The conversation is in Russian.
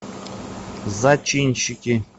зачинщики